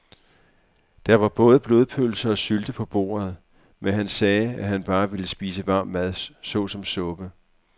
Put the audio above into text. Der var både blodpølse og sylte på bordet, men han sagde, at han bare ville spise varm mad såsom suppe.